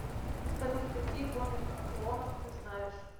салют какие войны клонов ты знаешь